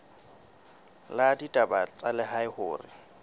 la ditaba tsa lehae hore